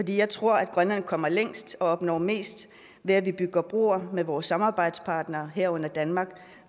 jeg tror at grønland kommer længst og opnår mest ved at vi bygger broer med vores samarbejdspartnere herunder danmark